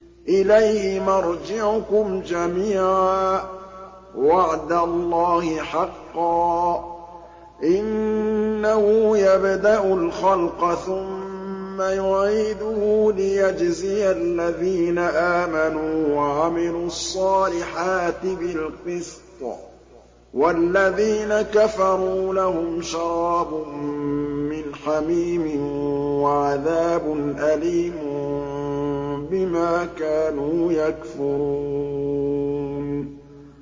إِلَيْهِ مَرْجِعُكُمْ جَمِيعًا ۖ وَعْدَ اللَّهِ حَقًّا ۚ إِنَّهُ يَبْدَأُ الْخَلْقَ ثُمَّ يُعِيدُهُ لِيَجْزِيَ الَّذِينَ آمَنُوا وَعَمِلُوا الصَّالِحَاتِ بِالْقِسْطِ ۚ وَالَّذِينَ كَفَرُوا لَهُمْ شَرَابٌ مِّنْ حَمِيمٍ وَعَذَابٌ أَلِيمٌ بِمَا كَانُوا يَكْفُرُونَ